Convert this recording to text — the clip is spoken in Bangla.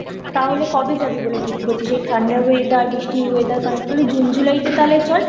তাহলে কবে জাবি বলে ঠিক করছিস এই ঠান্ডার weather বৃষ্টির weather তাহলে জুন জুলাই তে চল।